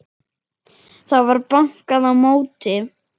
Það var bankað á móti.